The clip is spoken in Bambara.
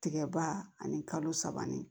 Tigɛba ani kalo saba ni